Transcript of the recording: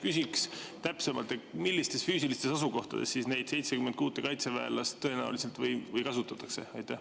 Küsiks täpsemalt: millistes füüsilistes asukohtades neid 76 kaitseväelast tõenäoliselt kasutatakse?